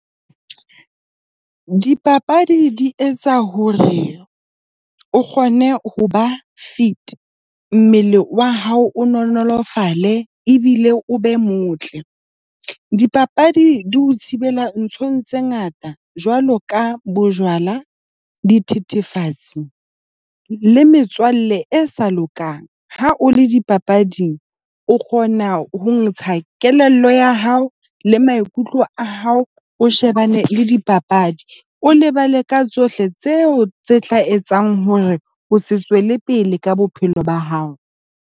Dipapadi di etsa hore o kgone ho ba fit, mmele wa hao o nonolofalle ebile o be motle. Dipapadi di ho thibela nthong tse ngata jwalo ka bojwala, dithethefatsi le metswalle e sa lokang. Ha o le dipapading, o kgona ho ntsha kelello ya hao le maikutlo a hao, o shebane le dipapadi, o lebale ka tsohle tseo tse tla etsang hore o se tswele pele ka bophelo ba hao.